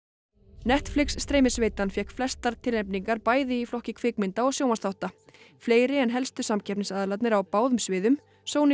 Netflix fékk flestar tilnefningar bæði í flokki kvikmynda og sjónvarpsþátta fleiri en helstu samkeppnisaðilarnir á báðum sviðum Sony